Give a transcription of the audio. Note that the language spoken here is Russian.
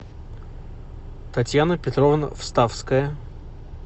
татьяна петровна вставская